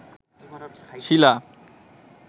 শিলা